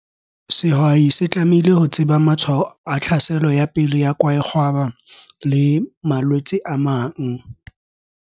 Sehwai se tlamehile ho tseba matshwao a tlhaselo ya pele ya kwaekgwaba le malwetse a mang.